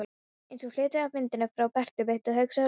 Eins og hluti af myndinni frá Bertu bit, hugsaði Lóa Lóa.